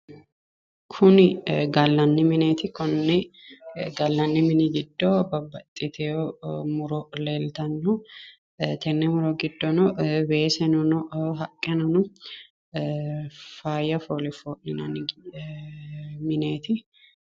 Kuni gallanni mineeti konni gallanni mini giddo babbaxxiteyo muro leeltanno tenne muro giddono weeseno no haqqeno no faayya foole foo'linanni mineeti.